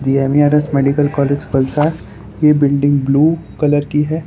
GMERS medical college Valsad ये building blue colour की है।